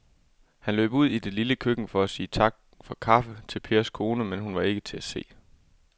Han løb ud i det lille køkken for at sige tak for kaffe til Pers kone, men hun var ikke til at se.